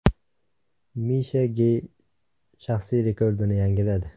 Misha Ge shaxsiy rekordini yangiladi.